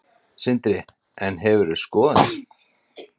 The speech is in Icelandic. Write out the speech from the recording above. Sindri: En hefur skoðanir?